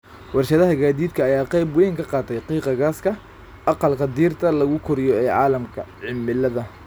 Warshadaha gaadiidka ayaa qayb weyn ka qaata qiiqa gaaska aqalka dhirta lagu koriyo ee caalamka, cimilada.